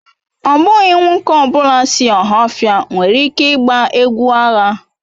Ọ bụghị nwoke ọ bụla si Ohaofia nwere ike ịgba egwu agha.